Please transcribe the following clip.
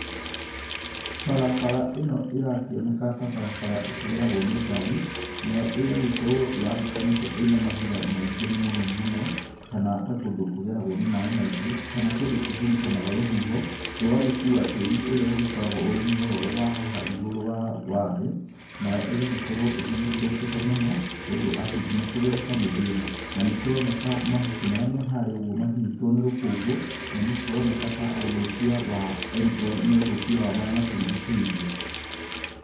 Barabara ĩno ĩrakĩoneka ta barabara ĩkĩgeragwo nĩ ngari, nayo ĩgagĩkorwo yambũkanĩte ĩna mahiga maingĩ mũno mũno, kana ta kũndũ kũgeragwo nĩ maĩ maingĩ, kana kũndũ kũhurutanaga rũhuho, rũgagĩkua tĩri ũrĩa ũgĩkoragwo ũrĩ muororo wa haha igũrũ wa thĩ, nayo ĩgagĩkorwo ĩgĩthũkĩte mũno, ũndũ atĩ nginya kũgereka nĩ thĩna. Na nĩ kũroneka mahuti marĩa me harĩa ũguo manyitwo nĩ rũkũngũ, na nĩ kũroneka ta ũthũkia wa, nĩ ũthũkia wa marĩa matũrigicirie.